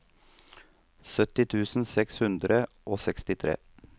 sytti tusen seks hundre og sekstitre